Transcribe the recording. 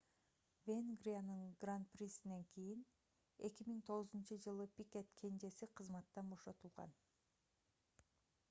венгриянын гран-присинен кийин 2009-ж пикет кенжеси кызматтан бошотулган